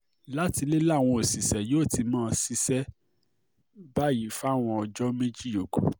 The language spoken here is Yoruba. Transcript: láti ilé làwọn òṣìṣẹ́ yóò ti máa ṣiṣẹ́ báyìí fáwọn ọjọ́ méjì yòókù